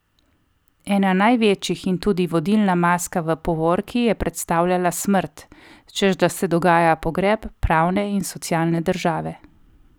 Ena največjih in tudi vodilna maska v povorki je predstavljala Smrt, češ da se dogaja pogreb pravne in socialne države.